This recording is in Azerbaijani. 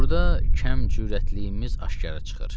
Burda kəm cürətliyimiz aşkara çıxır.